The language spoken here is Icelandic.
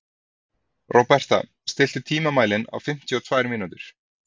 Róberta, stilltu tímamælinn á fimmtíu og tvær mínútur.